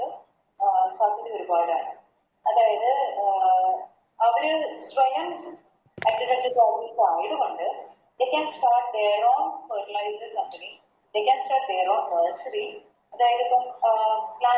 അഹ് Company ഒരുപാടാണ് അതായത് അഹ് അവര് സ്വയം Agriculture company ആയത് കൊണ്ട് They can start their own fertilization company they can start their own grocery അതായതിപ്പം അഹ്